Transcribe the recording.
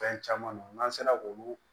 Fɛn caman nn n'an sera k'olu